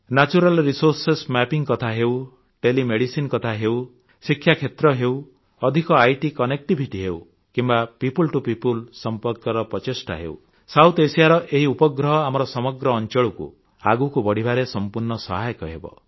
natural resource mapping କଥା ହେଉ telemedicine କଥା ହେଉ ଶିକ୍ଷାକ୍ଷେତ୍ର ହେଉ ଅଧିକ ଆଇଟି କନେକ୍ଟିଭିଟି ହେଉ କିମ୍ବା ପିଓପଲ୍ ଟିଓ ପିଓପଲ୍ ସମ୍ପର୍କର ପ୍ରଚେଷ୍ଟା ହେଉ ସାଉଥ୍ ଏଏସଆଇଏ ର ଏହି ଉପଗ୍ରହ ଆମର ସମଗ୍ର ଅଂଚଳକୁ ଆଗକୁ ବଢ଼ିବାରେ ସମ୍ପୂର୍ଣ୍ଣ ସହାୟକ ହେବ